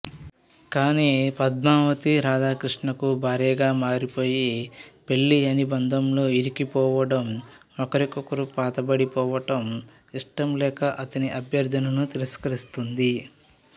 కానీ పద్మావతి రాధాకృష్ణకు భార్యగా మారిపోయి పెళ్ళి అనే బంధంలో ఇరికిపోవడం ఒకరికొకరు పాతబడిపోవడం యిష్టంలేక అతని అభ్యర్థనను తిరస్కరిస్తుంది